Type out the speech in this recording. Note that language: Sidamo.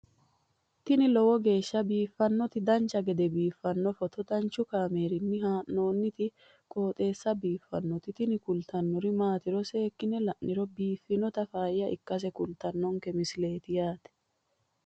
tini lowo geeshsha biiffannoti dancha gede biiffanno footo danchu kaameerinni haa'noonniti qooxeessa biiffannoti tini kultannori maatiro seekkine la'niro biiffannota faayya ikkase kultannoke misileeti yaate